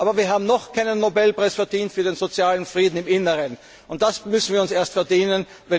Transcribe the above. Aber wir haben noch keinen Nobelpreis verdient für den sozialen Frieden im Inneren, den müssen wir uns erst verdienen.